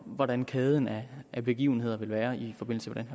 hvordan kæden af begivenheder vil være i forbindelse